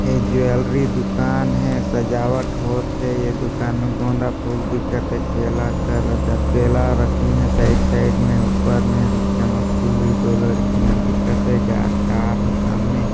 ये ज्वैलरी दूकान है सजावट होत हे ये दूकान में गोंदा फूल दिखत हे केला करदा केला रखीं है साइड साइड में ऊपर मे चमकती हुई दो लड़कियाँ दिखत हे गय- कार है सामने